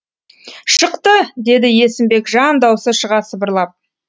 шықты деді есімбек жан даусы шыға сыбырлап